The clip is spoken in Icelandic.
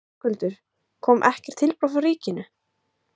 Höskuldur: Kom ekkert tilboð frá ríkinu?